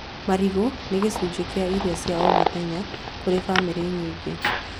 Marigũ nĩ gĩcunjĩ kĩa irio cia o mũthenya kũrĩ bamĩrĩ nyingĩ